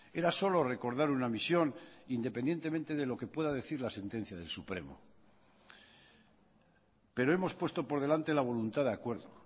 era solo recordar una misión independientemente de lo que pueda decir la sentencia del supremo pero hemos puesto por delante la voluntad de acuerdo